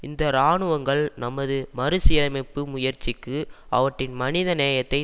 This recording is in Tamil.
இந்த இராணுவங்கள் நமது மறுசீரமைப்பு முயற்சிக்கு அவற்றின் மனிதநேயத்தை